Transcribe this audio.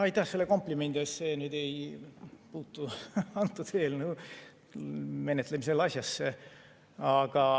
Aitäh selle komplimendi eest, aga see nüüd ei puutu antud eelnõu menetlemisel asjasse.